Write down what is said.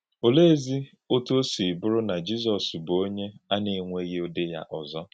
Olèézì òtú ọ sị bùrù na Jízọs bụ̀ “ònye a na-enwèghị Ụ́dị́ yá òzò”?